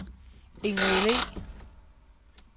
Ingrid Le